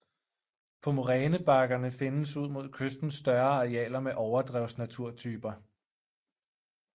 På morænebakkerne findes ud mod kysten større arealer med overdrevsnaturtyper